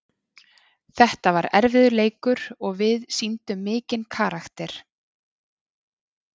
Þetta var erfiður leikur og við sýndum mikinn karakter.